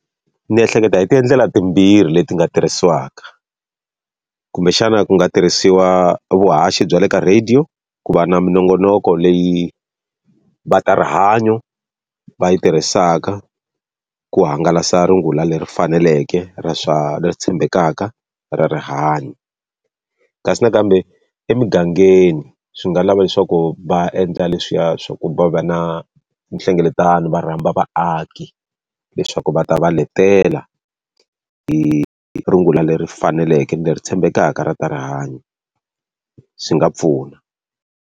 Ni ehleketa hi ti endlela timbirhi leti nga tirhisiwaka. Kumbexana ku nga tirhisiwa vuhaxi bya le ka radio, ku va na minongonoko leyi va ta rihanyo va yi tirhisaka ku hangalasa rungula leri faneleke ra swa leri tshembekaka ra rihanyo. Kasi nakambe emigangeni swi nga lava leswaku va endla leswiya swa ku va va na nhlengeletano, va rhamba vaaki leswaku va ta va letela hi hi rungula leri faneleke ni leri tshembekaka ra ta rihanyo, swi nga pfuna.